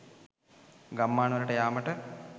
ගම්මාන වලට යාමට